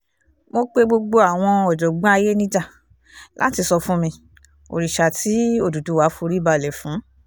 mo pe gbogbo àwọn ọ̀jọ̀gbọ́n ayé níjà láti sọ fún mi òrìṣà tí òdúdúwá forí balẹ̀ fún